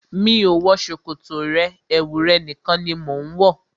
Mi ò wọ ṣòkòtò rẹ, ẹwu rẹ̀ nìkan ni mo ń wọ.